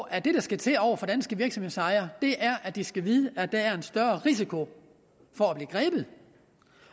at det der skal til over for danske virksomhedsejere er at de skal vide at der er en større risiko for at blive grebet